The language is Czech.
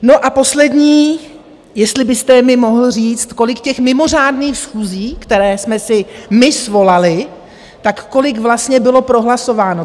No a poslední, jestli byste mi mohl říct, kolik těch mimořádných schůzí, které jsme si my svolali, tak kolik vlastně bylo prohlasováno.